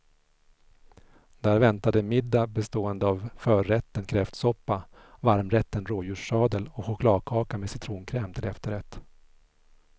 Där väntade middag bestående av förrätten kräftsoppa, varmrätten rådjurssadel och chokladkaka med citronkräm till efterrätt.